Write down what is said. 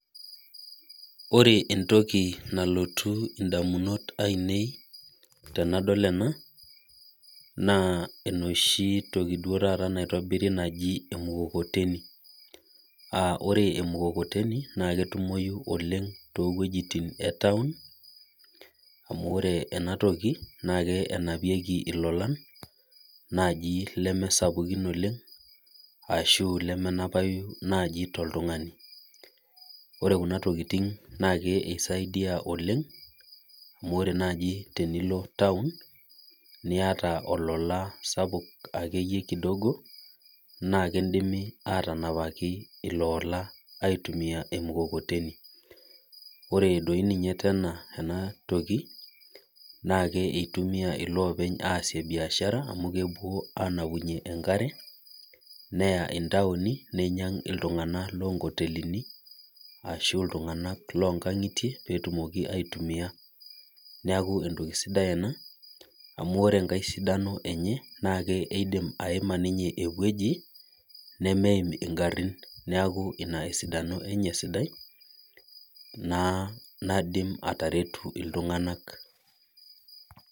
Ore entoki nalotu ndamunot einei tenadol ena naa enoshi toki taata naitobiri naji emukokoteni. Ore emukokoteni naa ketumoyu oleng toowejitin etaon, amu ore enatoki naa kenapieki ilolan naaji leme sapukin oleng, ashu lemenapayu naaji toltungani. Ore Kuna tokiting naa kisaidia oleng amu ore naaji tenilo taon, niyata olola sapuk akeyie kidogo, naa kindimi atanapaki iloola aitumiya emukokoteni. Ore doi ninye enatoki ,naa eitumiyia loopeny aasie biashara amu kepuo ayaunyie enkare neya ntaoni neinyang iltunganak loonkotelini ashu ltunganak loonkangitie pee etumoki aitumiya. Neeku entoki sidai ena, amu ore enkae sidano enye naa keidim ninye aimaa eweji nemeim ngarin ,neeku ina esidano enye sidai naidim atareto iltunganak.